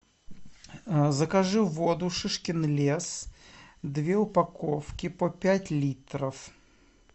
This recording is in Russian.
закажи воду шишкин лес две упаковки по пять литров